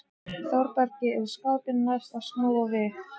Þórbergi er skapi næst að snúa við.